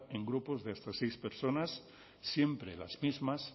en grupos de hasta seis personas siempre las mismas